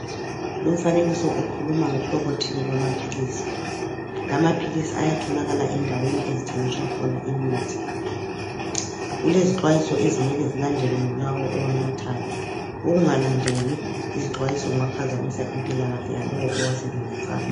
Lumfanekiso ukhuluma ngohlobo thile lwamaphilisi. Lamaphilisi ayatholakala endaweni ezithengiswa khona imithi. Kulezixwayiso ezimele zilandelwe ngulawo owanathayo. Ukungalandeli izixwayiso kungaphazamisa impilakahle yalowo owasebenzisayo.